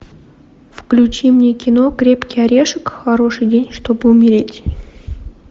включи мне кино крепкий орешек хороший день чтобы умереть